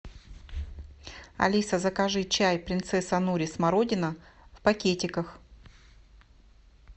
алиса закажи чай принцесса нури смородина в пакетиках